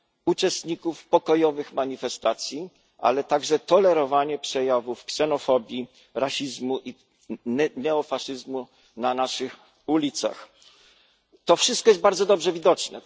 uczestników pokojowych manifestacji, jak również tolerowanie przejawów ksenofobii, rasizmu i neofaszyzmu na naszych ulicach. To wszystko jest bardzo dobrze widoczne.